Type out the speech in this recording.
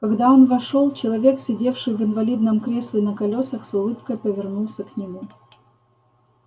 когда он вошёл человек сидевший в инвалидном кресле на колёсах с улыбкой повернулся к нему